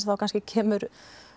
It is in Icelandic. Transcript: þá kannski kemur